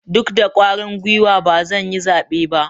Duk da kwarin guiwar ba zan yi zabe ba.